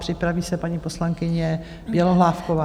Připraví se paní poslankyně Bělohlávková.